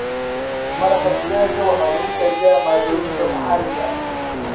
Maraqa digaaga waxaa lagu kariyaa maaddooyinka maxaliga ah.